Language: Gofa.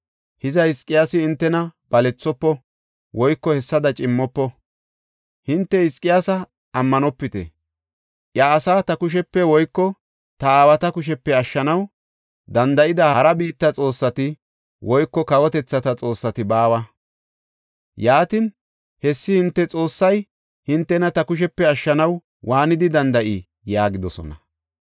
Hiza Hizqiyaasi hintena balethofo woyko hessada cimmofo. Hinte Hizqiyaasa ammanopite. Iya asaa ta kushepe woyko ta aawata kushepe ashshanaw danda7ida hara biitta xoossati woyko kawotethata xoossati baawa. Yaatin, hessi hinte Xoossay hintena ta kushepe ashshanaw waanidi danda7ii?” yaagidosona.